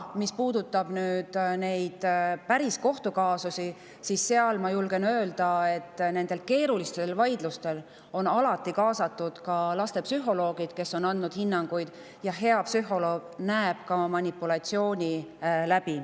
Mis puudutab neid päris kohtukaasusi, siis ma julgen öelda, et nendesse keerulistesse vaidlustesse on alati kaasatud ka lastepsühholoogid, kes on andnud hinnanguid, ja hea psühholoog näeb manipulatsiooni läbi.